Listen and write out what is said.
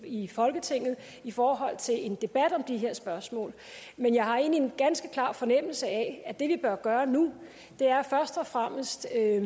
i folketinget i forhold til en debat om de her spørgsmål men jeg har egentlig en ganske klar fornemmelse af at det vi bør gøre nu først og fremmest er